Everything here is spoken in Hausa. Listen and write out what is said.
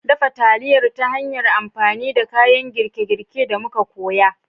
Dafa taliyar ta hanyar amfani da kayan girke-girke da muka koya